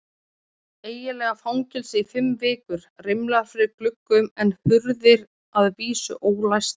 Eiginlega fangelsi í fimm vikur, rimlar fyrir gluggum en hurðir að vísu ólæstar.